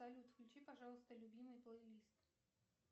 салют включи пожалуйста любимый плейлист